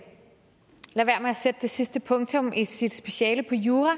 at sætte det sidste punktum i sit speciale på jura